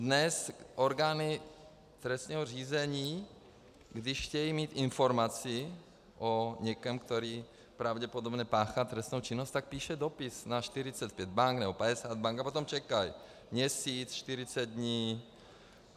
Dnes orgány trestního řízení, když chtějí mít informaci o někom, který pravděpodobně páchá trestnou činnost, tak píší dopis na 45 bank nebo 50 bank a potom čekají měsíc, 40 dní.